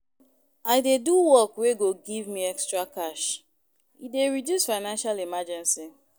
I dey do work wey go give me extra cash, e dey reduce financial emergency